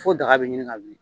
Fo daga bɛ ɲini ka wili.